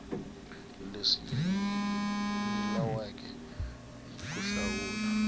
leswi nyilaweke hi ku hlawula